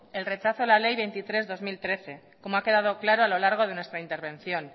el rechazo a la ley veintitrés barra dos mil trece como ha quedado claro a lo largo de nuestra intervención